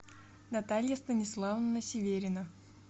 наталья станиславовна северина